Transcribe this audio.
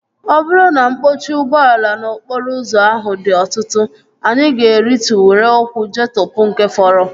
Ọ bụrụ na mkpọchi ụgbọala n'okporo ụzọ ahụ dị ọtụtụ, anyị ga-arịtụ were ụkwụ jeetopu nke fọrọ